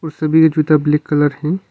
और सभी का जूता ब्लैक कलर है।